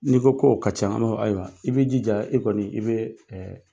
N'i ko k'o ka ca ayiwa i bɛ jija e kɔni i bɛ